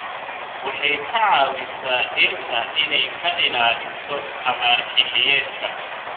Waxay ka caawisaa dhirta inay ka ilaaliso abaar xilliyeedka.